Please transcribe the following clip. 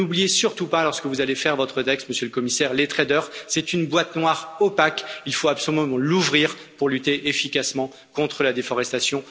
N'oubliez surtout pas, lorsque vous allez rédiger votre texte, Monsieur le Commissaire, que les traders, c'est une boîte noire opaque qu'il faut absolument ouvrir pour lutter efficacement contre la déforestation.